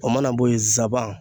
O mana bɔ yen nsaban.